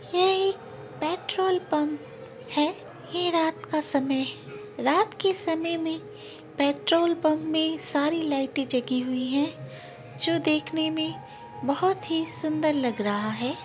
ये एक petrol pump है | यह रात का समय है | रात के समय मैं पेट्रोल पम्प मैं सारी लाइटे जाली हुई है जो देखने मैं बहुत ही सुंदर दिख रही है।